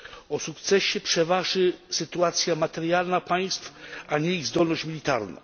O sukcesie przeważy sytuacja materialna państw, a nie ich zdolność militarna.